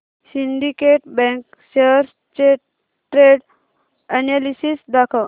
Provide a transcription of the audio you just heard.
Syndicate Bank shares चे trend analysis दाखव